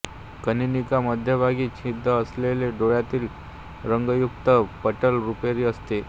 कनीनिका मध्यभागी छिद्र असलेले डोळ्यातील रंगयुक्त पटल रुपेरी असते